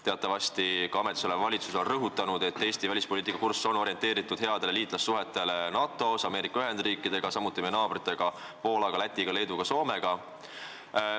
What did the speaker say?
Teatavasti on ka ametisolev valitsus rõhutanud, et Eesti välispoliitiline kurss on orienteeritud headele liitlassuhetele NATO ja Ameerika Ühendriikidega, samuti meie naabrite Poola, Läti, Leedu ja Soomega.